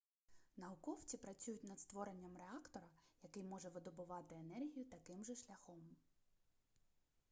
науковці працюють над створенням реактора який може видобувати енергію таким же шляхом